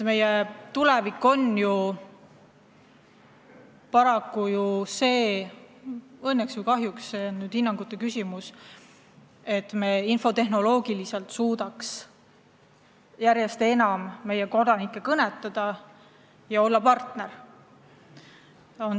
Meie tulevik on ju see – õnneks või kahjuks, see on hinnangute küsimus –, et me peame suutma infotehnoloogiliselt järjest enam kodanikke kõnetada ja neile hea partner olla.